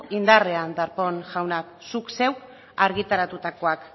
indarrean darpón jauna zuk zeuk argitaratutakoak